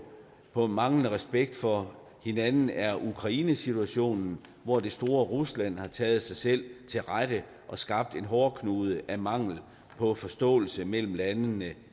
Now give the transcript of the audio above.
på manglende respekt for hinanden er ukrainesituationen hvor det store rusland har taget sig selv til rette og skabt en hårdknude af mangel på forståelse mellem landene